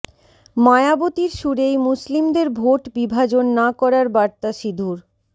মায়াবতীর সুরেই মুসলিমদের ভোট বিভাজন না করার বার্তা সিধুর